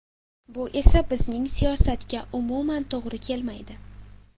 Bu esa bizning siyosatga umuman to‘g‘ri kelmaydi.